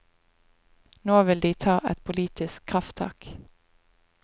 Nå vil de ta et politisk krafttak.